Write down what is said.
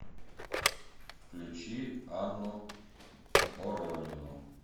включи анну боронину